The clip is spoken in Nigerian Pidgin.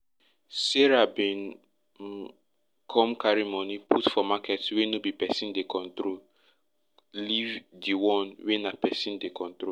sarah bin um come carry money put for market wey no be person dey control leave di one wey na person dey control